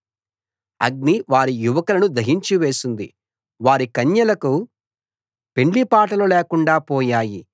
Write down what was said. అగ్ని వారి యువకులను దహించివేసింది వారి కన్యలకు పెండ్లిపాటలు లేకుండా పోయాయి